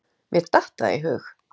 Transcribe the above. Mér datt það í hug!